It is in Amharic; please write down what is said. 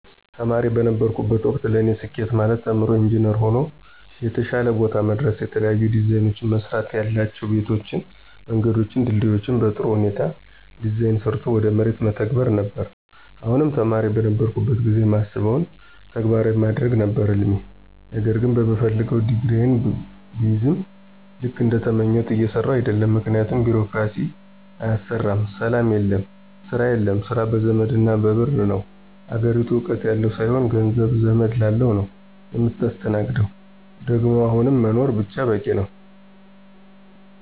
ተማሪ በነበርሁበት ወቅት ለኔ ስኬት ማለት ተምሮ ኢንጅነር ሆኖ የተሻለ ቦታ መድረስና የተለያዩ ዲዛይኖችን መስራትያላቸው ቤቶችን፣ መንገዶችን፣ ድልድዮችን በጥሩ ሁኔታ ዲዛይን ሰርቶ ወደ መሬት መተግበር ነበር፣ አሁንም ተማሪ በነበርሁበት ጊዜ ማስበውን ተግባራዊ ማድረግ ነበር ህልሜ ነገር ግን በምፈልገው ዲግሪየን ብይዝም ልክ እንደተመኘሁት እየሰራሁ አደለም ምክንያቱም ቢሮክራሲው አያሰራም፣ ሰላም የለም፣ ስራ የለም፣ ስራ በዘመድና በብር ነው፣ አገሪቱ እውቀት ያለው ሳይሆን ገንዘብ፣ ዘመድ ላለው ነው ምታስተናግደው ደግሞ አሁን መኖር ብቻ በቂ ነው።